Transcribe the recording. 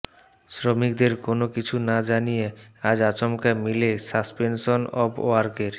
শ্রমিকদের কোনও কিছু না জানিয়ে আজ আচমকা মিলে সাসপেনসন অব ওয়ার্কের